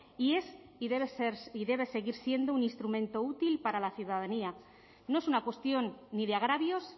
y es y debe ser y debe seguir siendo un instrumento útil para la ciudadanía no es una cuestión ni de agravios